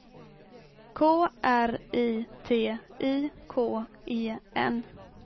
K R I T I K E N